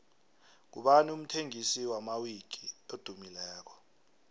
ngubani umthengisi wamawiki edumileko